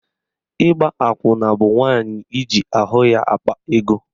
Ịgba akwụna bụ nwaanyị iji ahụ ya akpa ego.